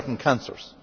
and certain cancers.